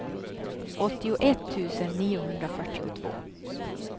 åttioett tusen niohundrafyrtiotvå